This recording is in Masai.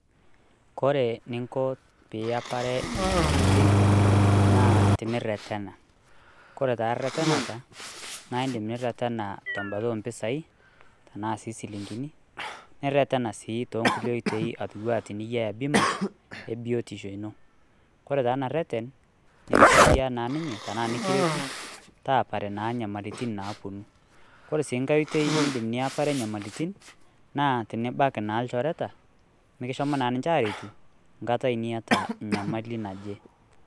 Kore eninko piyepare inyamalitin naa teniretena . Kore taa reteneta naa indim niretena tembata oompisai tenaa sii silingini , niretena si toonkulie oitoi anaa tenyiaya bima ebiotosho ino . Kore taa ena reten nikisaidian naa ninye tenaa nikiretu taapare naa nyamalitin napuonu .